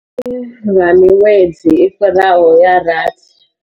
Lwa miṅwedzi i fhiraho ya rathi.